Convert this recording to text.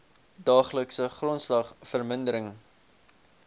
daaglikse grondslag verminder